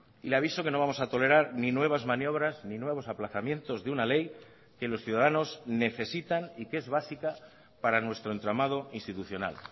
y le aviso que no vamos a tolerar ni nuevas maniobras ni nuevos aplazamientos de una ley que los ciudadanos necesitan y que es básica para nuestro entramado institucional